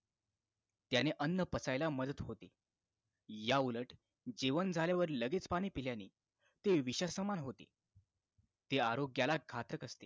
त्यांने अन्न पचायला मदत होते याउलट जेवण झाल्यावर लगेच पाणी पिल्याने ते विषासमान होते ते आरोग्याला घातक असते